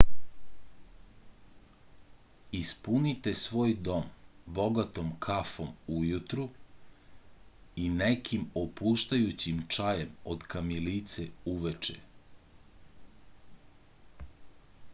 ispunite svoj dom bogatom kafom ujutru i nekim opuštajućim čajem od kamilice uveče